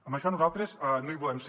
en això nosaltres no hi volem ser